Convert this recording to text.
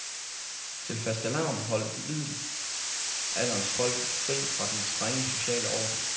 Til fastelavn holdt middelalderens folk fri fra den strenge sociale orden.